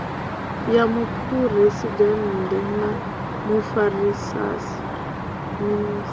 ya muphuresidennde na mufarisa minis